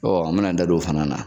an me n'an da don o fana na.